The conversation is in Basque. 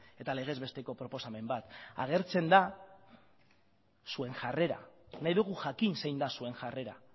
eta legez besteko proposamen bat agertzen da zuen jarrera nahi dugu jakin zein da zuen jarrera